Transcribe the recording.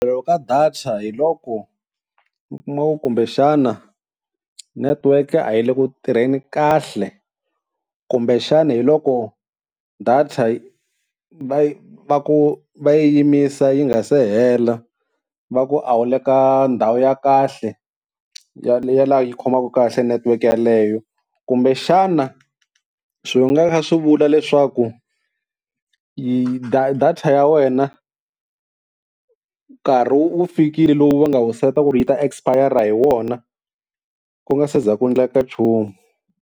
Ku pfariwa ka data hi loko mikuma ku kumbexana network a yi le ku tirheni kahle, kumbexana hi loko data yi va ku va yi yimisa yi nga se hela va ku a wu le ka ndhawu ya kahle ya laha yi khomaka kahle network yaleyo. Kumbexana swi nga va swi kha swi vula leswaku data ya wena nkarhi wu fikile lowu va nga wu seta ku ri yi ta espayara hi wona ku nga se za ku endleka nchumu.